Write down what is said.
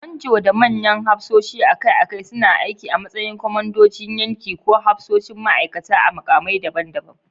Manjo da manyan hafsoshi akai-akai suna aiki a matsayin kwamandojin yanki ko hafsoshin ma'aikata a mukamai daban-daban.